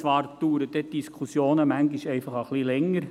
Dafür dauern die Diskussionen manchmal etwas länger.